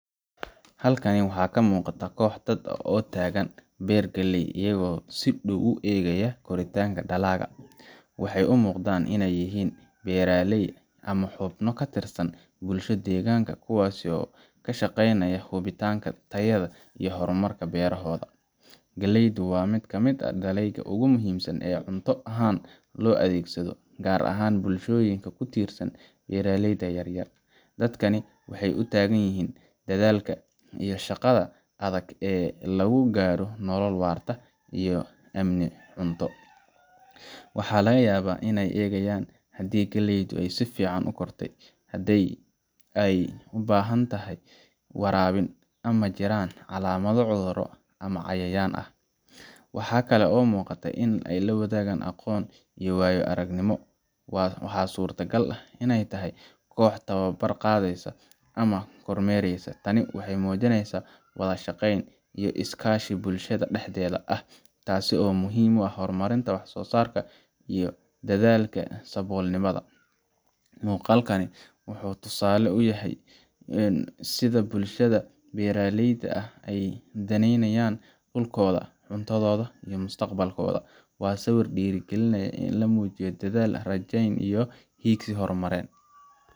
Halkan waxaa ka muuqata koox dad ah oo taagan beer galley ah, iyagoo si dhow u eegaya koritaanka dalagga. Waxay u muuqdaan inay yihiin beeraley ama xubno ka tirsan bulsho deegaanka, kuwaas oo ka shaqeynaya hubinta tayada iyo horumarka beerahooda. Galleydu waa mid ka mid ah dalagyada ugu muhiimsan ee cunto ahaan loo adeegsado, gaar ahaan bulshooyinka ku tiirsan beeraleyda yar-yar. Dadkani waxay u taagan yihiin dadaalka iyo shaqada adag ee lagu gaadho nolol waarta iyo amni cunto. Waxaa laga yaabaa inay eegayaan haddii galleydu si fiican u kortay, haddii ay u baahan tahay waraabin, ama ay jiraan calaamado cudurro ama cayayaan ah. Waxaa kale oo muuqata in la wadaagayo aqoon iyo waayo-aragnimo waxaa suurtagal ah inay tahay koox tababar qaadanaysa ama kormeeraysa. Tani waxay muujinaysaa wada shaqeyn iyo is-kaashi bulshada dhexdeeda ah, taasoo muhiim u ah horumarinta wax soosaarka iyo la dadaalka saboolnimada. Muuqaalkani waa tusaale cad oo muujinaya sida bulshada beeraleyda ah ay u daneynayaan dhulkooda, cuntohooda, iyo mustaqbalkooda. Waa sawir dhiirrigelin leh, oo muujinaya dadaal, rajayn, iyo hiigsi horumarineed.